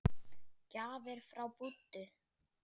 Gjafir frá Búddu.